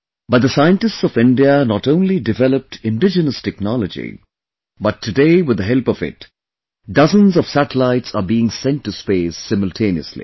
But the scientists of India not only developed indigenous technology, but today with the help of it, dozens of satellites are being sent to space simultaneously